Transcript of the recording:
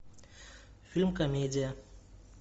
фильм комедия